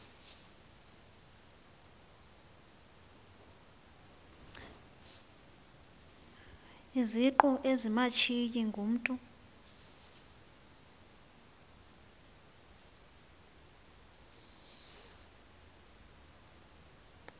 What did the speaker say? izingqu ezimashiyi ngumntu